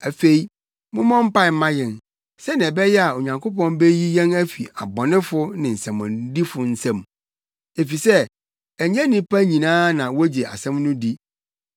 Afei mommɔ mpae mma yɛn, sɛnea ɛbɛyɛ a Onyankopɔn beyi yɛn afi abɔnefo ne nsɛmmɔnedifo nsam. Efisɛ ɛnyɛ nnipa nyinaa na wogye asɛm no di.